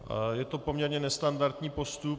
Je to poměrně nestandardní postup.